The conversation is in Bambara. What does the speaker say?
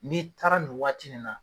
N'i taara nin waati nin na.